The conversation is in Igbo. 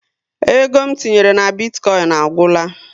Ego m tinyere na bitkoin a gwula